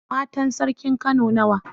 Matan sarkin kano nawa?